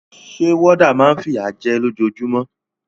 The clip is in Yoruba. Sé warder náà ma n fìyà je lójojúmó